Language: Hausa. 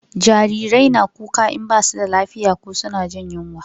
Jarirai na kuka in ba su da lafiya ko suna jin yunwa